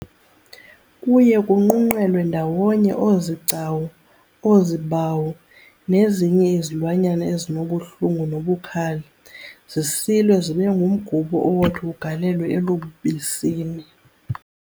Kuye kunqunqelwe ndawonye oozigcawu, oozibawu nezinye izilwanyana ezinobuhlungu nobukhali, zisilwe zibengumgubo owothi ugalelwe elubisini